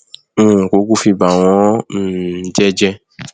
n ò kúkú fi bà wọn um jẹ jẹ